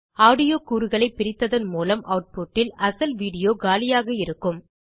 audio கூறுகளைப் பிரித்ததன் மூலம் ஆட்புட் இல் அசல் வீடியோ காலியாக இருக்கும்